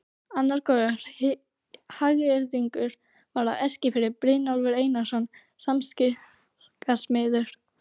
Annar góður hagyrðingur var á Eskifirði, Brynjólfur Einarsson skipasmiður.